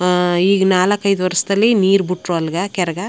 ಆಹ್ಹ್ ಈಗ ನಾಲಕ್ ಐದು ವರ್ಷದಲ್ಲಿ ನೀರ್ ಬಿಟ್ರು ಅಲ್ಲಿಗೆ ಕೆರೆಗ.